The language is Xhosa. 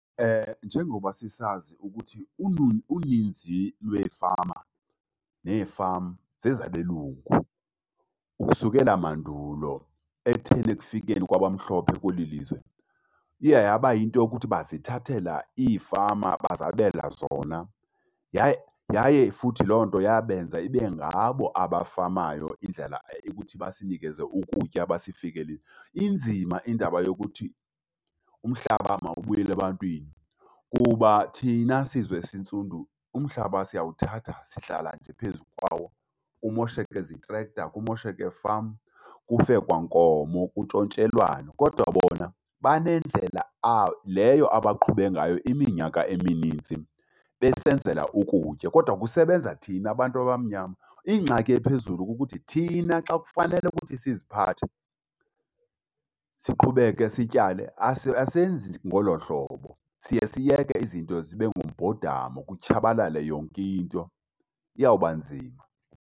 Njengoba sisazi ukuthi uninzi lweefama nee-farm zezabelungu. Ukusukela mandulo ekutheni ekufikeni kwabamhlophe kweli lizwe iye yaba yinto yokuthi bazithathela iifama bazabela zona. Yaye yaye futhi loo nto yabenza ibe ngabo abafamayo indlela ukuthi basinikeze ukutya . Inzima indaba yokuthi umhlaba mawubuyele ebantwini kuba thina sizwe esintsundu, umhlaba siyawuthatha sihlala nje phezu kwawo kumosheke zitrekta, kumosheke fam, kufe kwankomo kuntshontshelwane. Kodwa bona banendlela leyo abaqhube ngayo iminyaka emininzi besenzela ukutya, kodwa kusebenza thina bantu abamnyama. Ingxaki ephezulu kukuthi thina xa kufanele ukuthi siziphathe, siqhubeke sityale asenzi ngolo hlobo. Siye siyeke izinto zibe ngumbhodama kutshabalale yonke into. Iyawuba nzima.